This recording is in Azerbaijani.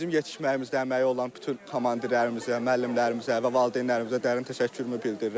Bizim yetişməyimizdə əməyi olan bütün komandirlərimizə, müəllimlərimizə və valideynlərimizə dərin təşəkkürümü bildirirəm.